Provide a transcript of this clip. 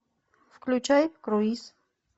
включай круиз